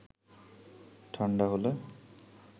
ঠাণ্ডা হলে